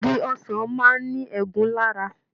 Igi ọsàn máa ní ẹ̀gún lára.